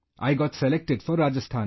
I got selected for Rajasthan